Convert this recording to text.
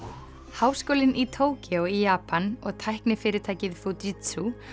háskólinn í Tókýó í Japan og tæknifyrirtækið Fujitsu